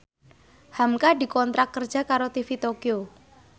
hamka dikontrak kerja karo TV Tokyo